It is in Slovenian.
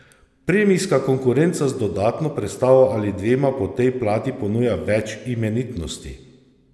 Premijska konkurenca z dodatno prestavo ali dvema po tej plati ponuja več imenitnosti!